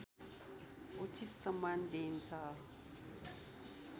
उचित सम्मान दिइन्छ